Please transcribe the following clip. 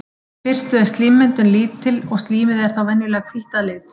Í fyrstu er slímmyndun lítil og slímið er þá venjulega hvítt að lit.